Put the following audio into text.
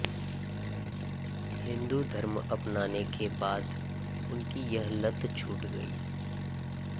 हिंदू धर्म अपनाने के बाद उनकी यह लत छूट गई